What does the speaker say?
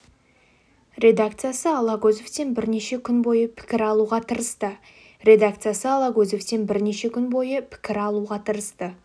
редакциясы алагөзовтен бірнеше күн бойы пікір алуға тырысты редакциясы алагөзовтен бірнеше күн бойы пікір алуға тырысты